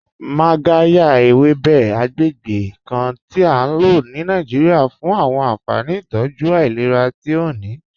Magàryà, èwébè̩ àgbègbè̩ kàn ti à ló ní Nàìjíríà fún àwọn ànfàní ìtọ́jú ailẹ̀rà tí ó ní.